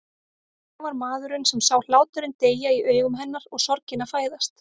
En ég var maðurinn sem sá hláturinn deyja í augum hennar og sorgina fæðast.